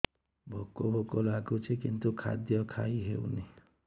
ଭୋକ ଭୋକ ଲାଗୁଛି କିନ୍ତୁ ଖାଦ୍ୟ ଖାଇ ହେଉନି